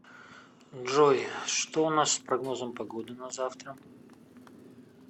джой что у нас с прогнозом погоды на завтра